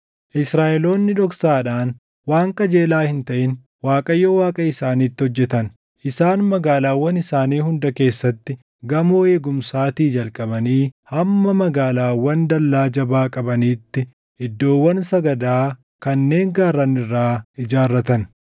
Israaʼeloonni dhoksaadhaan waan qajeelaa hin taʼin Waaqayyo Waaqa isaaniitti hojjetan. Isaan magaalaawwan isaanii hunda keessatti gamoo eegumsaatii jalqabanii hamma magaalaawwan dallaa jabaa qabaniitti iddoowwan sagadaa kanneen gaarran irraa ijaarratan.